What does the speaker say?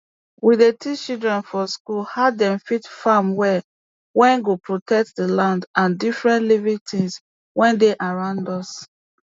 we dey teach children for school how dem fit farm well wey go protect d land and different living tins wey dey around us